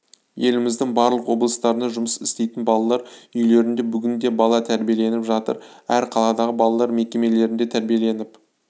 еліміздің барлық облыстарында жұмыс істейтін балалар үйлерінде бүгінде бала тәрбиеленіп жатыр әр қаладағы балалар мекемелерінде тәрбиеленіп